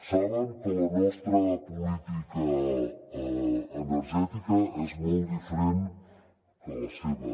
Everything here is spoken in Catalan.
saben que la nostra política energètica és molt diferent de la seva